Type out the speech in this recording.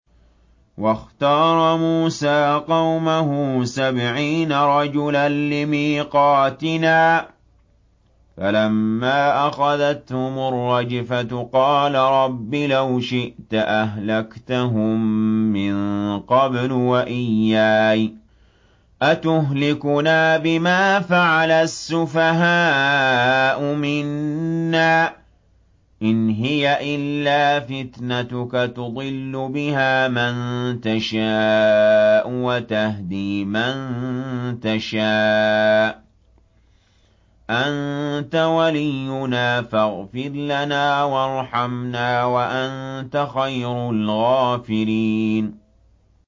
وَاخْتَارَ مُوسَىٰ قَوْمَهُ سَبْعِينَ رَجُلًا لِّمِيقَاتِنَا ۖ فَلَمَّا أَخَذَتْهُمُ الرَّجْفَةُ قَالَ رَبِّ لَوْ شِئْتَ أَهْلَكْتَهُم مِّن قَبْلُ وَإِيَّايَ ۖ أَتُهْلِكُنَا بِمَا فَعَلَ السُّفَهَاءُ مِنَّا ۖ إِنْ هِيَ إِلَّا فِتْنَتُكَ تُضِلُّ بِهَا مَن تَشَاءُ وَتَهْدِي مَن تَشَاءُ ۖ أَنتَ وَلِيُّنَا فَاغْفِرْ لَنَا وَارْحَمْنَا ۖ وَأَنتَ خَيْرُ الْغَافِرِينَ